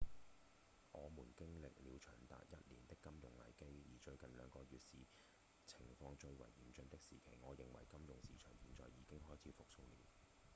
我們經歷了長達一年的金融危機而最近兩個月是情況最為嚴峻的時期我認為金融市場現在已經開始復甦了」